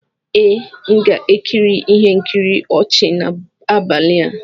Ee, m ga-ekiri ihe nkiri ọchị n'abalị a